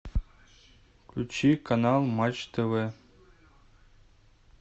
включи канал матч тв